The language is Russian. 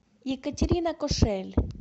екатерина кошель